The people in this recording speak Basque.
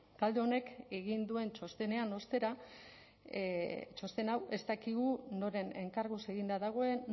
talde honek egin duen txosten hau ostera ez dakigu noren enkarguz eginda dagoen